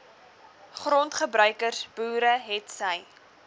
grondgebruikers boere hetsy